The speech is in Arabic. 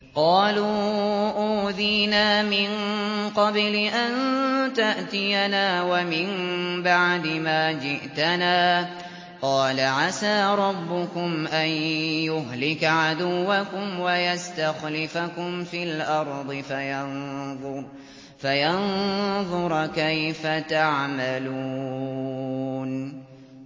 قَالُوا أُوذِينَا مِن قَبْلِ أَن تَأْتِيَنَا وَمِن بَعْدِ مَا جِئْتَنَا ۚ قَالَ عَسَىٰ رَبُّكُمْ أَن يُهْلِكَ عَدُوَّكُمْ وَيَسْتَخْلِفَكُمْ فِي الْأَرْضِ فَيَنظُرَ كَيْفَ تَعْمَلُونَ